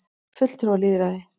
fulltrúalýðræði